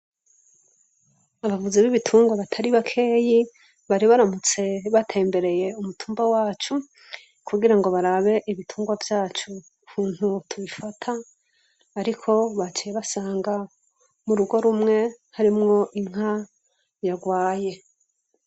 Abavuzi b'ibitungwa batari bakeyi, baribaramutse batembereye umutumba wacu, kugira ngo barabe ibitungwa vyacu ukuntu tubifata, ariko baciye basanga mu rugo rumwe, harimwo inka yarwaye.